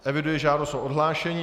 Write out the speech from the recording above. Eviduji žádost o odhlášení.